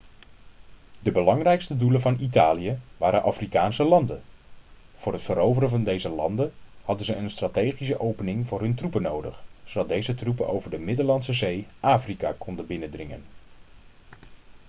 de belangrijkste doelen van italië waren afrikaanse landen voor het veroveren van deze landen hadden ze een strategische opening voor hun troepen nodig zodat deze troepen over de middellandse zee afrika konden binnendringen